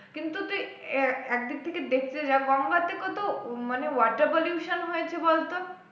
কিন্তু তুই আহ একদিক থেকে দেখতে যা গঙ্গাতে কত মানে water pollution হয়েছে বলতো